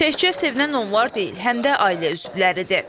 Təkcə sevinən onlar deyil, həm də ailə üzvləridir.